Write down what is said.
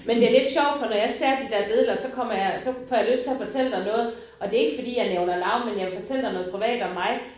Men det lidt sjovt for når jeg ser de der billeder så kommer jeg så får jeg lyst til at fortælle dig noget og det ikke fordi jeg nævner navne men jeg vil fortælle dig noget privat om mig